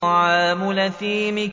طَعَامُ الْأَثِيمِ